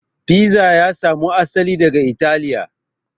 Fiza ya samo asali daga italiya